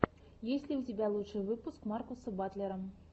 есть ли у тебя лучший выпуск маркуса батлера